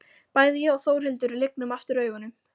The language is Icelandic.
Bæði ég og Þórhildur lygnum aftur augunum.